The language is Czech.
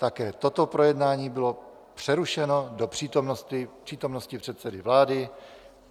Také toto projednání bylo přerušeno do přítomnosti předsedy vlády.